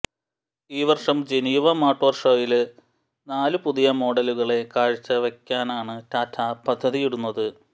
ഈ വര്ഷം Geneva motor ഷോയില് നാലു പുതിയ മോഡലുകളെ കാഴ്ച്ചവെക്കാനാണ് ടാറ്റ പദ്ധതിയിടുന്നത്